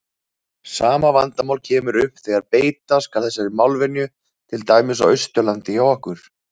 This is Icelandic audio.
Sama vandamál kemur upp þegar beita skal þessari málvenju til dæmis á Austurlandi hjá okkur.